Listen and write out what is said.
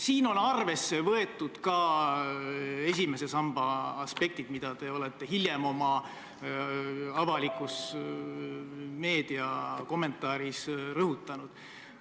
Siin on arvesse võetud ka esimese samba aspekte, mida te olete hiljem oma avalikus meediakommentaaris rõhutanud.